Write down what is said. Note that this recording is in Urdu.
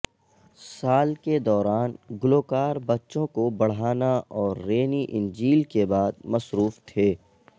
سال کے دوران گلوکار بچوں کو بڑھانا اور رینی انجیل کے بعد مصروف تھے